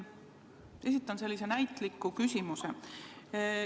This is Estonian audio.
Ma esitan sellise näitliku küsimuse.